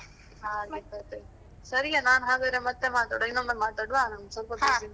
ಹಾಗೆ ಕಥೆ. ಸರಿಯಾ ಹಾಗಾದ್ರೆ ಮತ್ತೆ ಮಾತಾಡುವಾ ಇನ್ನೊಮ್ಮೆ ಮಾತಾಡುವಾ? ನನ್ಗೆ ಸ್ವಲ್ಪ busy ಇದ್ದೇನೆ.